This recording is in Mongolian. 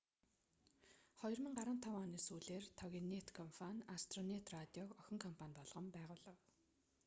2015 оны сүүлээр тогинэт компани астронэт радиог охин компани болгон байгуулав